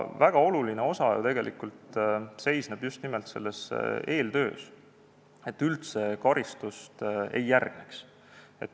Väga oluline osa ju tegelikult seisneb just nimelt selles eeltöös, et üldse karistust ei järgneks.